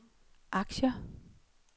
aktier